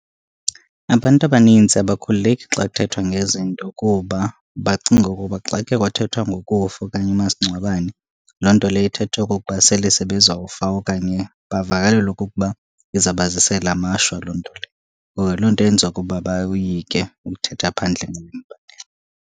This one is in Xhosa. Abantu abanintsi abakhululeki xa kuthethwa ngezi zinto, kuba bacinga ukuba xa ke kwathethwa ngokufa okanye umasingcwabane loo nto leyo ithetha okokuba sele sebezawufa, okanye bavakalelwa okokuba izabazisela amashwa loo nto leyo. Ngoba loo nto yenziwa kuba bayoyike ukuthetha phandle ngemibandela.